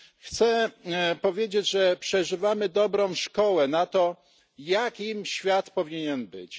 Chcę powiedzieć, że przeżywamy dobrą szkołę na to, jakim świat powinien być.